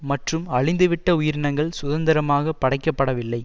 மற்றும் அழிந்துவிட்ட உயிரினங்கள் சுதந்திரமாகப் படைக்கப்படவில்லை